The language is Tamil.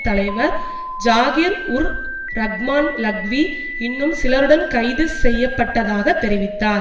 தலைவர் ஜாகிர்உர்ரஹ்மான் லக்வி இன்னும் சிலருடன் கைது செய்யப்பட்டதாகத் தெரிவித்தார்